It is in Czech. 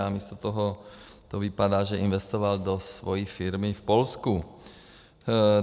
A místo toho to vypadá, že investoval do svojí firmy v Polsku.